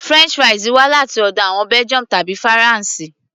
french fries wá láti ọ̀dọ̀ àwọn Belgium tàbí faransé